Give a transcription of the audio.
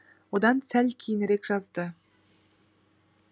одан сәл кейінірек жазды